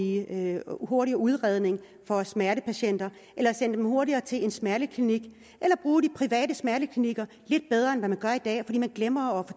en hurtigere udredning for smertepatienter sende dem hurtigere til en smerteklinik eller bruge de private smerteklinikker lidt bedre end man gør i dag fordi man glemmer